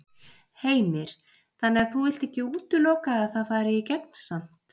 Heimir: Þannig að þú vilt ekki útiloka að það fari í gegn samt?